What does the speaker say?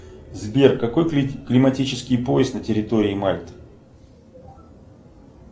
сбер какой климатический пояс на территории мальты